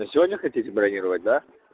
на сегодня хотите бронировать да